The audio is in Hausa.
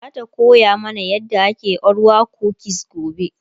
zata koya mana yadda ake orwa kukis gobe